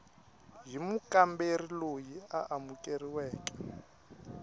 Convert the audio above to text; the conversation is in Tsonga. hi mukamberi loyi a amukeriweke